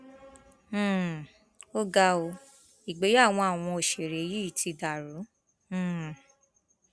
um ó ga ó ìgbéyàwó àwọn òṣèré yìí ti dàrú um